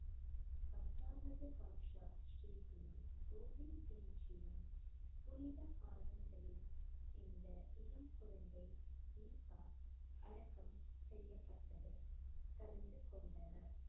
பத்தாவது பாட்ஷா ஸ்ரீ குரு கோபிந்த் சிங்ஜியின் புனித பாதங்களில் இந்த இளம் குழந்தை தீபா அடக்கம் செய்யப்பட்டது. கலந்து கொண்டனர்.